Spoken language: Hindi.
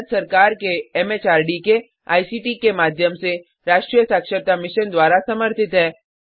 यह भारत सरकार के एमएचआरडी के आईसीटी के माध्यम से राष्ट्रीय साक्षरता मिशन द्वारा समर्थित है